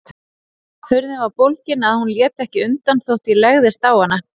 Hurðin var svo bólgin að hún lét ekki undan þótt ég legðist á hana.